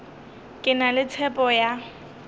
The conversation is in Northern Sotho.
ke na le tshepo ya